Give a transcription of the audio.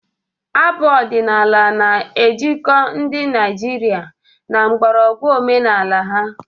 Abụ ọdịnala na-ejikọ ndị Naijiria na mgbọrọgwụ omenala ha.